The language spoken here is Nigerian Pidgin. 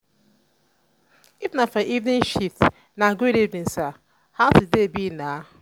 if na for evening shift na good evening sir how today be na?